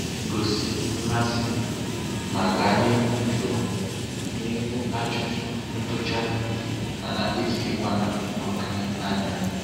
Gosi mmasị, ma gaa n'ihu jụọ n'ihu ajụjụ ntụcha, mana etinyekwana oké anya.